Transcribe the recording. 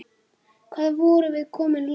Hvað vorum við komin langt?